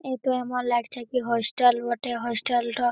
এটু এমন লাগছে কি হোস্টেল বটে হোস্টেল টো --